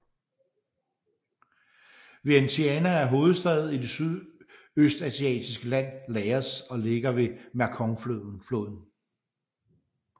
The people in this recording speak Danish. Vientiane er hovedstad i det sydøstasiatiske land Laos og ligger ved Mekongfloden